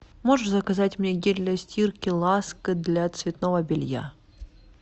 можешь заказать мне гель для стирки ласка для цветного белья